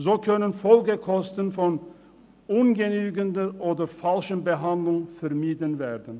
So können Folgekosten durch ungenügende oder falsche Behandlung vermieden werden.